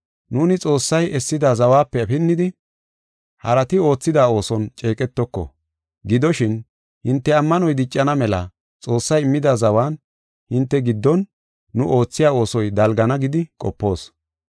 Nuuni Xoossay essida zawape pinnidi, harati oothida ooson ceeqetoko. Gidoshin, hinte ammanoy diccana mela Xoossay immida zawan hinte giddon nu oothiya oosoy dalgana gidi qopoos.